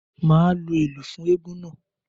Màá lu ìlù fún eégún náà.